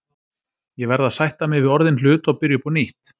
Ég verð að sætta mig við orðinn hlut og byrja upp á nýtt.